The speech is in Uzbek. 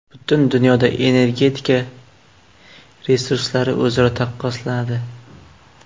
Butun dunyoda energetika resurslari o‘zaro taqqoslanadi.